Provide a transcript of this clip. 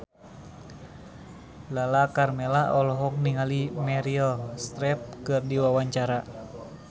Lala Karmela olohok ningali Meryl Streep keur diwawancara